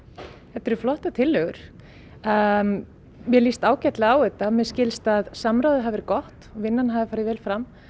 þetta eru flottar tillögur mér líst ágætlega á þetta mér skilst að samráðið hafi verið gott vinnan hafi farið vel fram